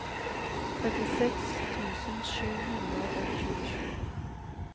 trettiseks tusen sju hundre og tjuesju